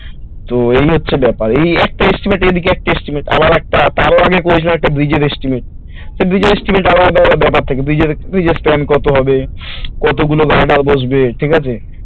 তো এই হচ্ছে ব্যাপার এই একটা estimate এইদিকে একটা estimate আবার একটা তারও আগে প্রয়োজনএকটা bridge এর estimate তো bridge এর estimate এর আলাদা ব্যাপার থাকে bridge এর কত হবে কতগুলো guarder বসবে ঠিকাছ